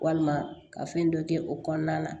Walima ka fɛn dɔ kɛ o kɔnɔna na